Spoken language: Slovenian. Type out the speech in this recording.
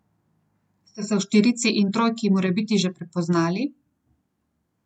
Ste se v štirici in trojki morebiti že prepoznali?